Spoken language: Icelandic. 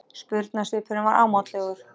Spurnarsvipurinn var ámátlegur.